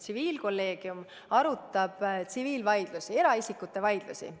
Tsiviilkolleegium arutab tsiviilvaidlusi, eraisikute vaidlusi.